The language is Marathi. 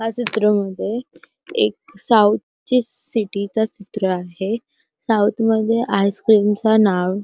ह्या चित्रमध्ये एक साऊथच सिटि च चित्र आहे साऊथ मध्ये आइसक्रीम च नाव --